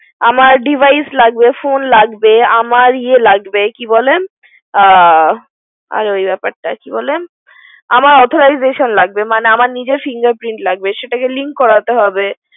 আমর device লাগবে phone লাগবে, আমর ইয়ে লাগেবে, কি বলে? আর ওই ব্যাপারটা, কি বলে আমার authorization লাগবে মানে আমার নিজের লাগবে finger print সেটাকে link করাতে হবে।